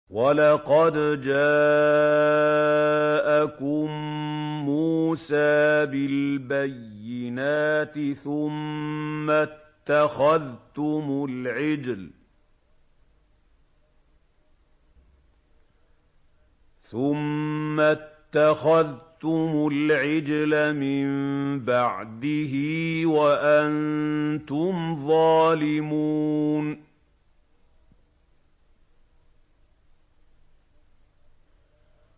۞ وَلَقَدْ جَاءَكُم مُّوسَىٰ بِالْبَيِّنَاتِ ثُمَّ اتَّخَذْتُمُ الْعِجْلَ مِن بَعْدِهِ وَأَنتُمْ ظَالِمُونَ